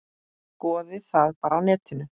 Skoðið það bara á netinu.